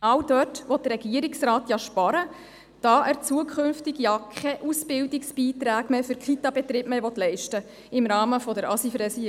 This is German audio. Genau dort will der Regierungsrat ja sparen, da er im Rahmen der ASIV-Revision künftig keine Ausbildungsbeiträge für Kitabetriebe mehr leisten will.